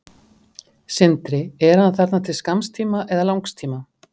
Sindri: Er hann þarna til skamms tíma eða langs tíma?